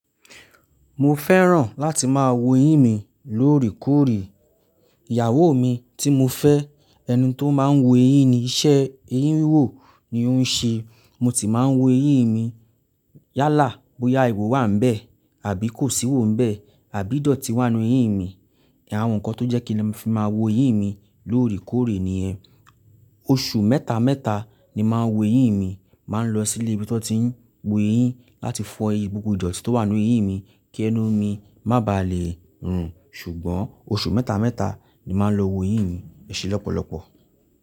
Mo fẹ́ràn láti máa wo eyín mi lóòrèkóòrè. Ìyàwó mi tí mo fẹ́, ẹni tó máa ń wo eyín ni iṣẹ́ eyín wò ni ó ń ṣe. Mo ti máa ń wo eyín mi yálà bóyá iwo wà níbẹ̀ àbí kò sí iwo níbẹ̀ àbí ìdọ̀tí wà nínú eyín mi. Nkan, àwọn nǹkan tó jẹ́ kí ni a fi máa wo eyín mi lóòrèkóòrè nìyẹn. Oṣù mẹ́ta mẹ́ta ni màá ń wo eyín mi, màá ń lọ sí ilé ibi tó ti ń wo eyín láti fọ eyín gbogbo ìdọ̀tí tó wà nínú eyín mi kí ẹnu mi má bàa lè rùn. Ṣùgbọ́n oṣù mẹ́ta mẹ́ta ni màá ń lọ wo eyín mi ẹse lọ́pọ̀lọpọ̀.